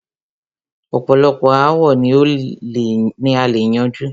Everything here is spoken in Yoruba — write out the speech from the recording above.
ọ̀pọ̀lọpọ̀ aàwo ni a lè yanjú.